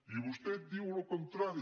i vostè diu el contrari